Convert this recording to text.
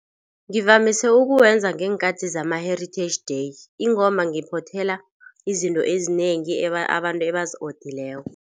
Ngivamise ukuwenza ngeenkathi zama-heritage day ingomba ngiphothela izinto ezinengi abantu abazi odileko.